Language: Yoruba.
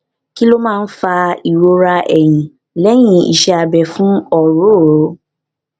kí ló máa ń fa ìrora ẹyìn lehin iṣẹ abẹ fún ọrooro